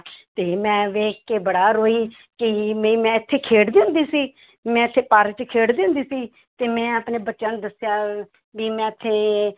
ਤੇ ਮੈਂ ਵੇਖ ਕੇ ਬੜਾ ਰੋਈ ਕਿ ਵੀ ਮੈਂ ਇੱਥੇ ਖੇਡਦੀ ਹੁੰਦੀ ਸੀ ਮੈਂ ਇੱਥੇ ਪਾਰਕ 'ਚ ਖੇਡਦੀ ਹੁੰਦੀ ਸੀ ਤੇ ਮੈਂ ਆਪਣੇ ਬੱਚਿਆਂ ਨੂੰ ਦੱਸਿਆ ਵੀ ਮੈਂ ਇੱਥੇ,